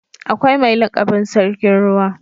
Akwai mai lakabin sarkin ruwa.